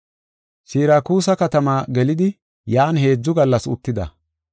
Sirakuuse katamaa gelidi yan heedzu gallas uttida.